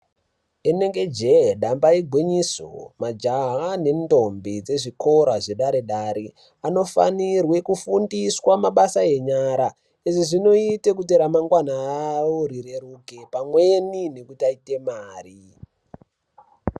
Rinenge jee damba igwinyiso majaha nendombi dzezvikora zvedare-dare anofanirwe kufundiswa mabasa enyara. Izvi zvinoite kuti ramangwana ravo rireruke pamweni nekuti aite mari.